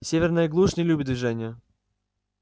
северная глушь не любит движения